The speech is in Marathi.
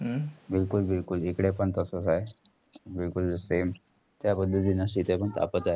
बिलकुल बिलकुल, इकडे पण तसेच आहे. बिलकुल same त्या पद्धतींनी इथे पण तापत आहे.